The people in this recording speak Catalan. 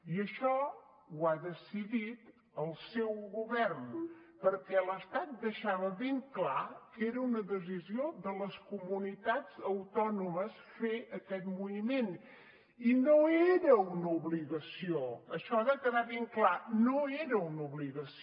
i això ho ha decidit el seu govern perquè l’estat deixava ben clar que era una decisió de les comunitats autònomes fer aquest moviment i no era una obligació això ha de quedar ben clar no era una obligació